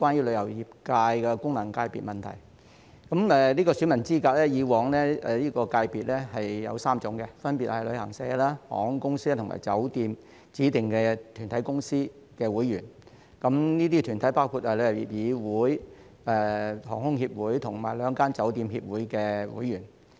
旅遊界的選民資格以往分為3類，分別是旅行社、航空業及酒店業指定團體的公司會員，這些團體包括香港旅遊業議會、香港航空公司代表協會和兩個酒店協會的會員。